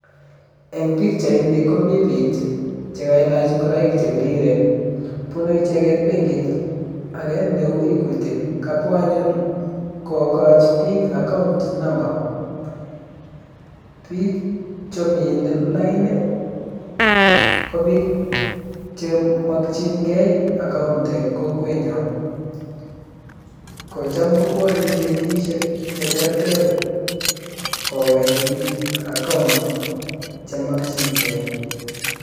En pichaini komi biik chekailach ngoroik chebiriren bunu icheket benkit age neu Equity kabwa anyun kokochi biik account number. Biik chemine lain ko biik chemokyingei account en kokwenyon, kocham kobwone benkisiek cheterter kokoi biik account chemokyingei.